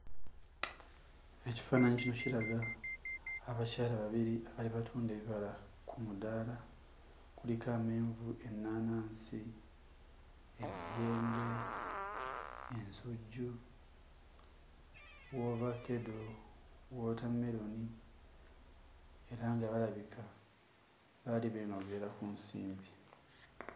Ekifaananyi kino kiraga abakyala babiri abaali batunda ebibala ku mudaala kuliko amenvu, ennaanansi, emiyembe, ensujju, woovakkedo, wootammeroni era nga balabika baali beenogera ku nsimbi.